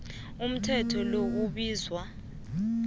umthetho lo ubizwa